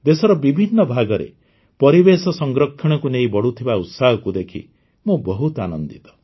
ଦେଶର ବିଭିନ୍ନ ଭାଗରେ ପରିବେଶ ସଂରକ୍ଷଣକୁ ନେଇ ବଢ଼ୁଥିବା ଉତ୍ସାହକୁ ଦେଖି ମୁଁ ବହୁତ ଆନନ୍ଦିତ